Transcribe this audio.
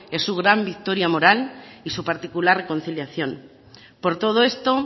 es su gran victoria moral y su particular reconciliación por todo esto